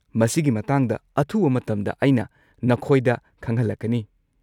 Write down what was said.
ꯃꯁꯤꯒꯤ ꯃꯇꯥꯡꯗ ꯑꯊꯨꯕ ꯃꯇꯝꯗ ꯑꯩꯅ ꯅꯈꯣꯏꯗ ꯈꯪꯍꯜꯂꯛꯀꯅꯤ꯫